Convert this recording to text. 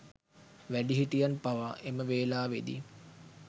වැඩිහිටියන් පවා එම වෙලාවේදී